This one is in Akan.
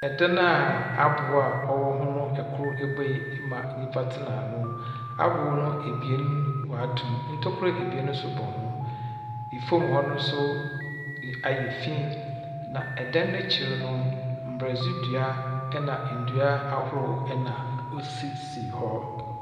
Ɛdan a aboa a ɔwɔ ho no, kor ebue ama nyimpa tsena ano. Aboo no ebien wɔatom. Ntokua ebien nso bɔ ho. Fam hɔ no nso yɛ ayɛ fi, na dan no ekyir no, mborɔdze dua na ndua ahorow na osisi hɔ.